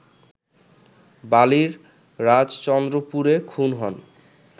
বালির রাজচন্দ্রপুরে খুন হন